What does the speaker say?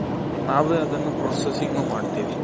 ನಾವೇ ಅದನ್ನು processing ಮಾಡ್ತೀವಿ.